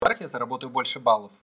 так я заработаю больше баллов